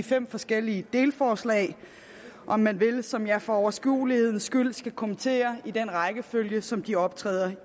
fem forskellige delforslag om man vil som jeg for overskuelighedens skyld skal kommentere i den rækkefølge som de optræder